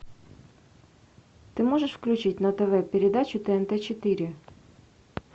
ты можешь включить на тв передачу тнт четыре